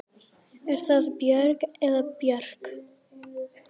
Er það Björg eða Björk?